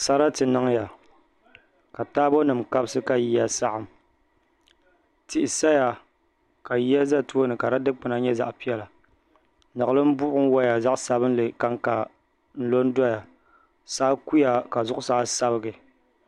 Sarati niŋya ka taabo nim kabisi ka yiya saɣam tihi saya ka yiya ʒɛ tooni ka di dikpuna nyɛ zaɣ piɛla niɣilim buɣum woya zaɣ sabinli kanka n lo n doya saa kuya ka zuɣusaa sabigi